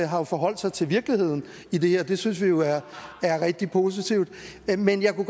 har forholdt sig til virkeligheden i det her det synes vi jo er rigtig positivt men jeg kunne